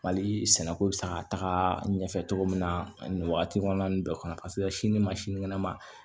Mali sɛnɛko bɛ se ka taga ɲɛfɛ cogo min na nin wagati kɔnɔna nin bɛɛ kɔnɔ paseke sini ma sinikɛnɛ ma